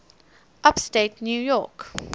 upstate new york